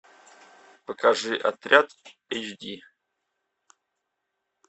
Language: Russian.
покажи отряд эйч ди